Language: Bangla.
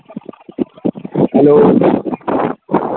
hello